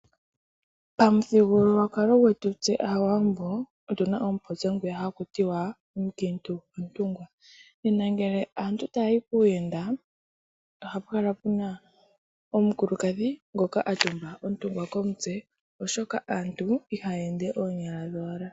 Pamuthigululwakalo ngwetu tse Aawambo, otu na omupopyo ngwiya haku ti " Omukiintu ontungwa", ngele aantu taa yi kuuyenda, oha pu kala pu na omukulukadhi ngoka a tumba ontungwa komutse, oshoka aantu ihaa ende oonyala dhowala.